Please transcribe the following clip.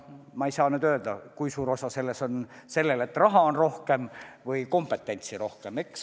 Ma ei saa öelda, kui suur osa selles on faktil, et raha on rohkem või kompetentsi on rohkem.